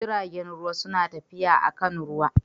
Jiragen ruwa suna tafiya akan ruwa